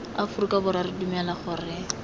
aforika borwa re dumela gore